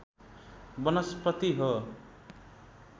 वनस्पति हो